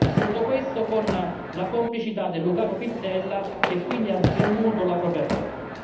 Tutto questo con la complicità del lucano Pittella, che quindi ha svenduto la propria terra.